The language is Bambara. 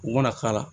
U mana k'a la